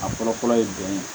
A fɔlɔ fɔlɔ ye jumɛn ye